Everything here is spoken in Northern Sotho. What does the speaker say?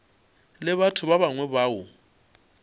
le batho ba bangwe bao